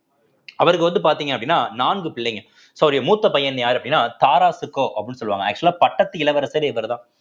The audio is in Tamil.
அவருக்கு வந்து பார்த்தீங்க அப்படின்னா நான்கு பிள்ளைங்க so அவருடைய மூத்த பையன் யாரு அப்படின்னா தாராஷிகோ அப்படின்னு சொல்லுவாங்க actual ஆ பட்டத்து இளவரசரே இவர்தான்